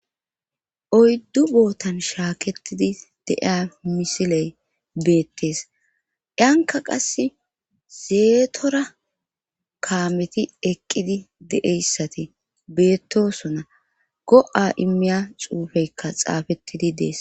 oyddu bootan shaaketidi de'iya misiley beettees yanka qass zeetora kaameti eqqidi deeyssati beettosona go7a immiya xuufeykka xaafettidi dees